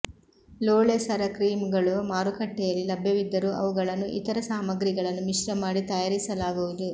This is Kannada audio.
ಲೋಳೆ ಸರ ಕ್ರೀಮ್ ಗಳು ಮಾರಕಟ್ಟೆಂುುಲ್ಲಿ ಲಭ್ಯವಿದ್ದರೂ ಅವುಗಳನ್ನು ಇತರ ಸಾಮಾಗ್ರಿಗಳನ್ನು ಮಿಶ್ರ ಮಾಡಿ ತಂುುಾರಿಸಲಾಗುವುದು